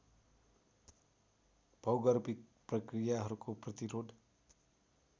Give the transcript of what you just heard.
भौगर्भिक प्रक्रियाहरूको प्रतिरोध